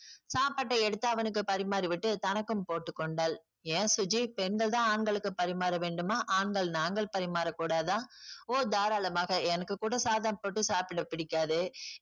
சாப்பாட்டை எடுத்து அவனுக்கு பரிமாறி விட்டு தனக்கும் போட்டுக் கொண்டாள். ஏன் சுஜி பெண்கள் தான் ஆண்களுக்கு பரிமாற வேண்டுமா ஆண்கள் நாங்கள் பரிமாறக்கூடாதா? ஓ தாராளமாக எனக்கு கூட சாதம் போட்டு சாப்பிட பிடிக்காது.